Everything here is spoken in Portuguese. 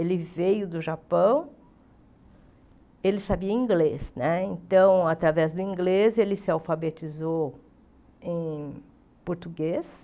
Ele veio do Japão, ele sabia inglês né, então, através do inglês, ele se alfabetizou em português,